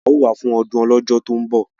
A ó wà fún ọdún Ọlọ́jọ́ tó ń bọ̀!